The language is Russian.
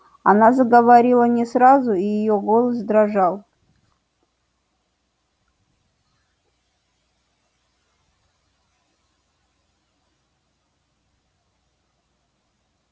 она заговорила не сразу и её голос дрожал